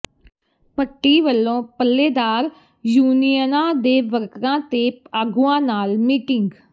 ਭੱਟੀ ਵੱਲੋਂ ਪੱਲੇਦਾਰ ਯੂਨੀਅਨਾਂ ਦੇ ਵਰਕਰਾਂ ਤੇ ਆਗੂਆਂ ਨਾਲ ਮੀਟਿੰਗ